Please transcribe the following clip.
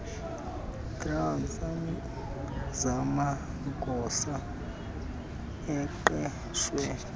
drive zamagosa aqeshwe